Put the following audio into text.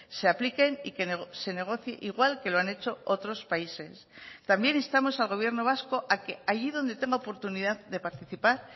se apliquen y que se negocie igual que lo han hecho otros países también instamos al gobierno vasco a que allí donde tenga oportunidad de participar